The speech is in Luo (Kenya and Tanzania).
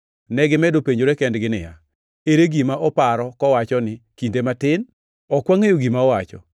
Negimedo penjore kendgi niya, “Ere gima oparo kowacho ni, ‘Kinde matin?’ Ok wangʼeyo gima owacho.”